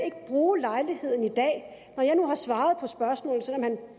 ikke bruge lejligheden i dag når jeg nu har svaret på spørgsmålet selv om han